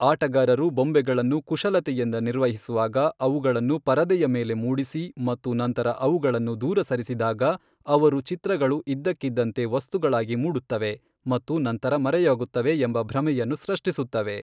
ಆಟಗಾರರು ಬೊಂಬೆಗಳನ್ನು ಕುಶಲತೆಯಿಂದ ನಿರ್ವಹಿಸುವಾಗ, ಅವುಗಳನ್ನು ಪರದೆಯ ಮೇಲೆ ಮೂಡಿಸಿ ಮತ್ತು ನಂತರ ಅವುಗಳನ್ನು ದೂರ ಸರಿಸಿದಾಗ, ಅವರು ಚಿತ್ರಗಳು ಇದ್ದಕ್ಕಿದ್ದಂತೆ ವಸ್ತುಗಳಾಗಿ ಮೂಡುತ್ತವೆ ಮತ್ತು ನಂತರ ಮರೆಯಾಗುತ್ತವೆ ಎಂಬ ಭ್ರಮೆಯನ್ನು ಸೃಷ್ಟಿಸುತ್ತವೆ.